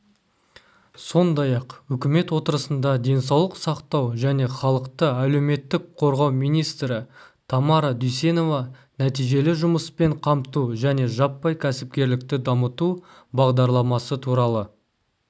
сондай-ақ үкімет отырысында денсаулық сақтау және халықты әлеуметтік қорғау министрі тамара дүйсенова нәтижелі жұмыспен қамту және жаппай кәсіпкерлікті дамыту бағдарламасы туралы